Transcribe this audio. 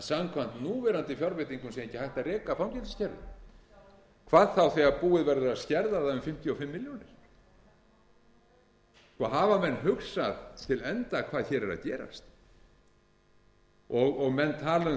samkvæmt núverandi fjárveitingum sé ekki hægt að reka fangelsiskerfið hvað þá þegar búið verður að skerða það um fimmtíu og fimm milljónir hafa menn hugsað til enda hvað hér er að gerast menn tala